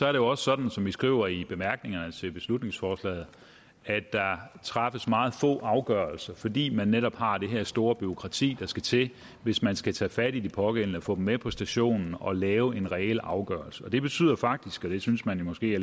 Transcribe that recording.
er det også sådan som vi skriver i bemærkningerne til beslutningsforslaget at der træffes meget få afgørelser fordi man netop har det store bureaukrati der skal til hvis man skal tage fat i de pågældende få dem med på stationen og lave en reel afgørelse det betyder faktisk og det synes man måske